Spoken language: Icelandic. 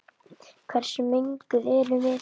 Hversu menguð erum við?